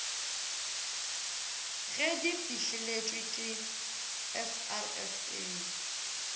ge di fihleletšwe ke srsa